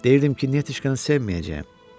Deyirdim ki, Nətişkanı sevməyəcəyəm.